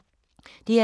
DR2